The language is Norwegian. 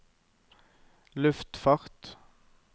luftfart